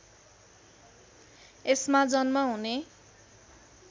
यसमा जन्म हुने